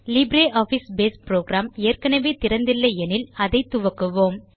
LibreOffice Base programme ஏற்கெனெவே திறந்து இல்லை எனில் அதை துவக்குவோம்